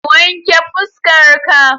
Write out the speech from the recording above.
Wanke fuskar ka